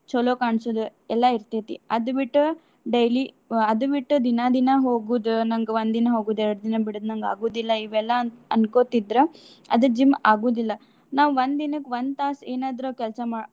ಚಲೋ ಕಾಣ್ಸುದ್ ಎಲ್ಲಾ ಇರ್ತೆತಿ. ಅದು ಬಿಟ್ಟ್ daily ಅದು ಬಿಟ್ಟ್ ದಿನ ದಿನ ಹೋಗುದ್ ನಂಗ್ ಒಂದ್ ದಿನ ಹೋಗುದ್ ಎರಡ್ ದಿನ ಬಿಡುದ್. ನಂಗ್ ಆಗುದಿಲ್ಲಾ ಇವೆಲ್ಲಾ ಅಂತ ಅನ್ಕೋತಿದ್ರ ಅದು gym ಆಗುದಿಲ್ಲ. ನಾವ್ ಒಂದ್ ದಿನಕ್ ಒಂದ್ ತಾಸ್ ಏನಾದ್ರು ಕೆಲ್ಸಾ.